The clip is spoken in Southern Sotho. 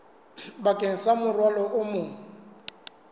bakeng sa morwalo o mong